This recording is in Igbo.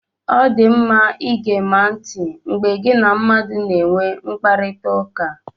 Ọ dị mma igema ntị mgbe gị na mmadụ na-enwe mkparịtaụka.